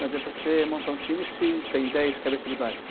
Não adianta você montar um time se tem dez cabeças de bagre.